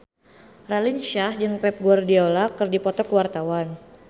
Raline Shah jeung Pep Guardiola keur dipoto ku wartawan